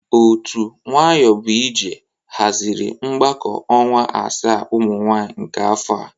Otu nwayọbụije hazịrị mgbakọ ọnwa asaa ụmụ nwaanyị nke afọ a.